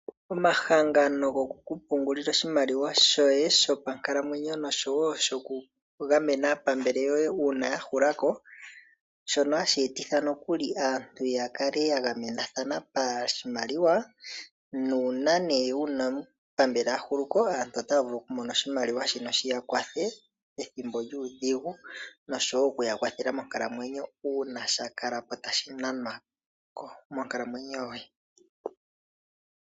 Omahangano goku pungulila oshimaliwa shoye shopankalamwenyo oshowo shaa pambele yoye uuna ya hula ko shono hashi etitha nokuli aantu ya kale ya gamenathana pashimaliwa nuuna nee wuna omupambele a hulu ko, aantu otaya vulu oku mona oshimaliwa shono shiya kwathe ethimbo lyuudhigu oshowo okuya kwathela monkalamwenyo uuna sha kala ko tashi nanwa monkalamwenyo yoye.